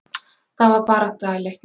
Það var barátta í leiknum.